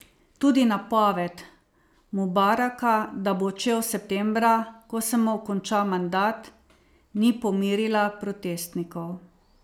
Tudi napoved Mubaraka, da bo odšel septembra, ko se mu konča mandat, ni pomirila protestnikov.